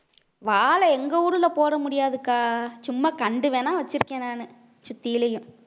வாழை எங்க ஊர்ல போட முடியாதுக்கா சும்மா கண்டு வேணா வச்சுருக்கேன் நானு சுத்தியிலயும்